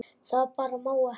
Það bara má ekki.